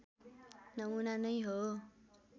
नमुना नै हो